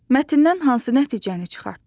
Mətndən hansı nəticəni çıxartdın?